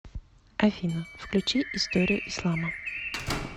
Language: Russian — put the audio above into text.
афина включи историю ислама